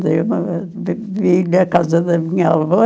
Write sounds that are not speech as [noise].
[unintelligible] Vim na casa da minha avó.